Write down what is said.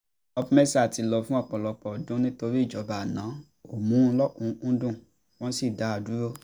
opmesa ti lọ fún ọ̀pọ̀lọpọ̀ ọdún nítorí ìjọba àná kò mú un lọ́kùn-ún-kúndùn wọ́n sì dá a dúró